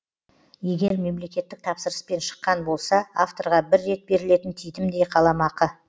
егер мемлекеттік тапсырыспен шыққан болса авторға бір рет берілетін титімдей қаламақы